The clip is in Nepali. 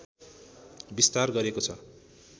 विस्तार गरेको छ